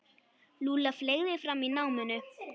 Lúlla fleygði fram í náminu.